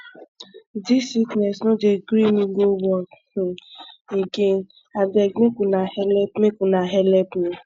dis sickness no dey gree me go work um again abeg make una helep make una helep me